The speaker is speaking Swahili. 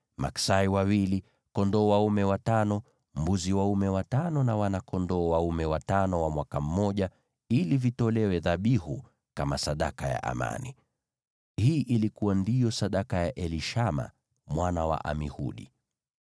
maksai wawili, kondoo dume watano, mbuzi dume watano na wana-kondoo dume watano wa mwaka mmoja, ili vitolewe dhabihu kama sadaka ya amani. Hii ndiyo ilikuwa sadaka ya Elishama mwana wa Amihudi.